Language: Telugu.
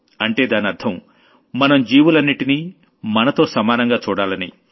అంటే దానర్థం మనం జీవులన్నింటినీ మనతో సమానంగా చూడాలని